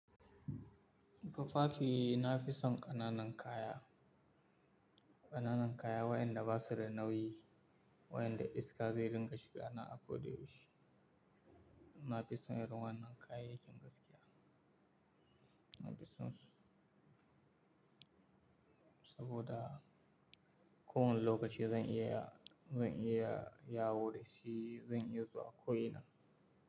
Tufafi, na fi son ƙananan kaya, ƙananan kaya wayanda ba su da nauyi, wayanda iska zai ringa shiga na ako da yaushe. Na fi son irin wannan kayayyakin gaskiya, na fi son su saboda kowane lokaci zan iya, zan iya yawo da shi, zan iya zuwa ko ina.